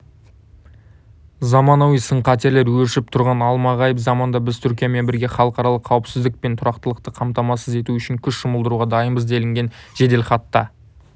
заманауи сын-қатерлер өршіп тұрған алмағайып заманда біз түркиямен бірге халықаралық қауіпсіздік пен тұрақтылықты қамтамасыз ету үшін күш жұмылдыруға дайынбыз делінген жеделхатта